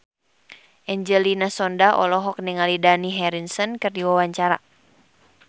Angelina Sondakh olohok ningali Dani Harrison keur diwawancara